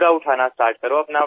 plastic उचला असे सांगितले